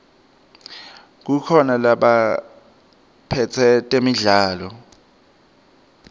kukhona labaphetse temidlalo